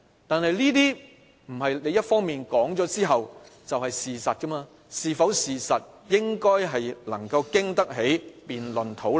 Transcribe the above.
但政府單方面說出來的不一定是事實，事實應該經得起辯論、討論。